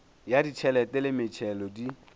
ya ditšhelete le metšhelo di